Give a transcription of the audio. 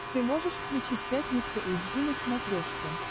ты можешь включить пятница эйч ди на смотрешке